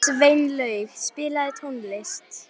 Sveinlaug, spilaðu tónlist.